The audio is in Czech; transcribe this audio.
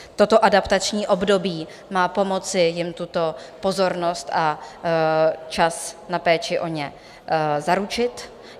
Toto adaptační období má pomoci jim tuto pozornost a čas na péči o ně zaručit.